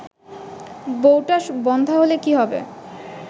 বউটা বন্ধ্যা হলে কী হবে